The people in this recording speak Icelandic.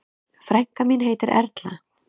Frænka mín heitir Erla.